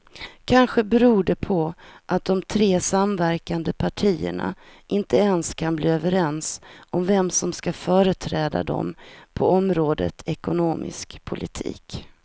Kanske beror det på att de tre samverkande partierna inte ens kan bli överens om vem som ska företräda dem på området ekonomisk politik.